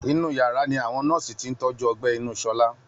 Inú yàrá ni awọn nọ́ọ̀sì ti ń tọ́jú ọgbẹ́ inú Ṣọlá